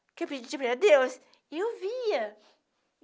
Porque eu pedi para Deus e eu via.